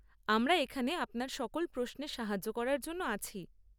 আমরা এখানে আপনার সকল প্রশ্নে সাহায্য করার জন্য আছি।